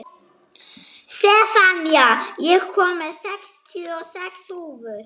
Sefanía, ég kom með sextíu og sex húfur!